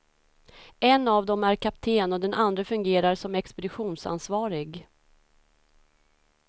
En av dem är kapten och den andre fungerar som expeditionsansvarig.